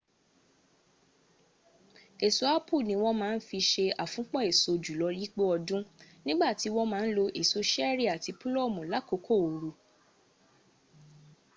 èso apple ni wọ́n má ń fi se àfúnpọ̀ èso júlọ yípo ọdún nígbà tí wọ́n má ń lo èso ṣẹrí àti púlọ̀mù lákòókò ooru